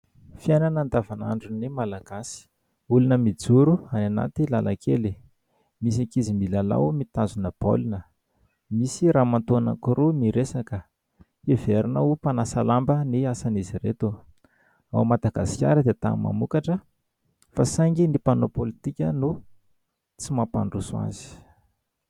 Fiainana andavanandron'ny Malagasy : olona mijoro any anaty lalan-kely ; misy ankizy milalao, mitazona baolina ; misy ramatoa anankiroa miresaka, heverina ho mpanasa lamba ny asan'izy ireto. Ao Madagasikara dia tany mamokatra, fa saingy ny mpanao politika no tsy mampandroso azy.